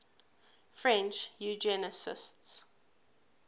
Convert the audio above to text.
french eugenicists